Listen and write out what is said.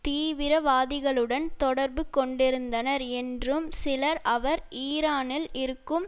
தீவிரவாதிகளுடன் தொடர்பு கொண்டிருந்தனர் என்றும் சிலர் அவர் ஈரானில் இருக்கும்